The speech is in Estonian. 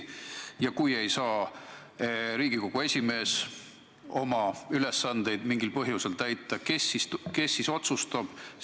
Ja kui ei saa ka Riigikogu esimees seda ülesannet mingil põhjusel täita, kes siis otsustab?